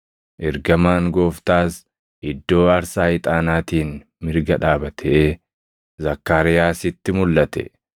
Ergamaan Gooftaas iddoo aarsaa ixaanaatiin mirga dhaabatee Zakkaariyaasitti mulʼate.